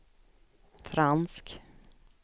fransk